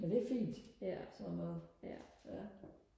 men det er fint sådan noget ja